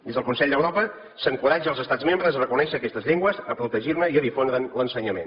des del consell d’europa s’encoratja els estats membres a reconèixer aquestes llengües a protegir ne i a difondre’n l’ensenyament